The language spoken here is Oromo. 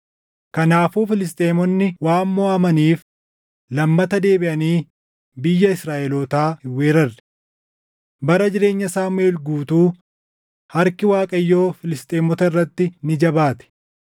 Kanaafuu Filisxeemonni waan moʼatamaniif lammata deebiʼanii biyya Israaʼelootaa hin weerarre. Bara jireenya Saamuʼeel guutuu harki Waaqayyoo Filisxeemota irratti ni jabaate.